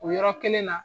O yɔrɔ kelen na